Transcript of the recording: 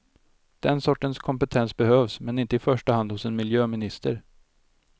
Den sortens kompetens behövs, men inte i första hand hos en miljöminister.